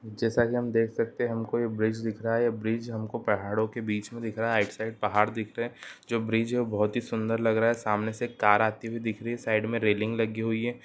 जैसा की हम देख सकते हैं हमको ये ब्रिज दिख रहा है ये ब्रिज हमको पहाड़ों के बीच मे दिख रहा है राइट साइड पहाड़ दिख रहे हैं जो ब्रिज है वो बहोत ही सुंदर लग रहा है सामने से एक कार आती हुई दिख रही है साइड में रेलिंग लगी हुई है।